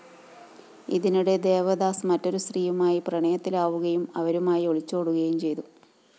ഇതിനിടെ ദേവദാസ് മറ്റൊരു സ്ത്രീയുമായി പ്രണയത്തിലാവുകയും അവരുമായി ഒളിച്ചോടുകയും ചെയ്തു